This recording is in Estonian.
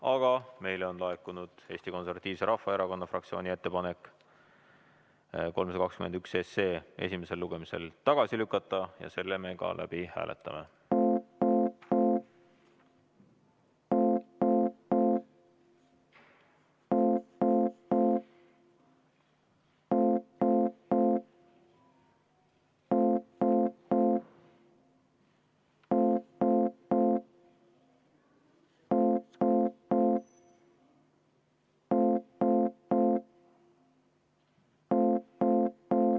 Aga meile on laekunud Eesti Konservatiivse Rahvaerakonna fraktsiooni ettepanek eelnõu 321 esimesel lugemisel tagasi lükata ja selle me ka läbi hääletame.